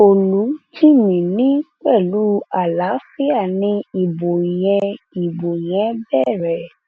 olùjìmí ni pẹlú àlàáfíà ni ìbò yẹn ìbò yẹn bẹrẹ